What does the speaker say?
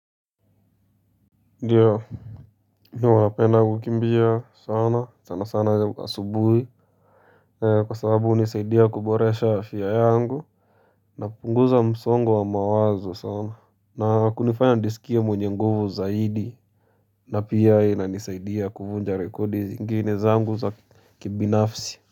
Ndiyo mi huwa napenda kukimbia sana sana sana asubuhi Kwa sababu hunisaidia kuboresha afya yangu napunguza msongo wa mawazo sana na kunifanya nijisikie mwenye nguvu zaidi na pia inanisaidia kuvunja rekodi zingine zangu za kibinafsi.